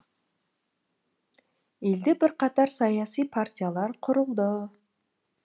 елде бірқатар саяси партиялар құрылды